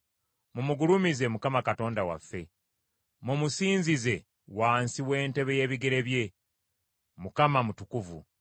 Mumugulumize Mukama Katonda waffe; mumusinzize wansi w’entebe y’ebigere bye. Mukama mutukuvu.